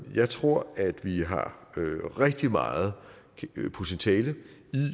jeg tror at vi har rigtig meget potentiale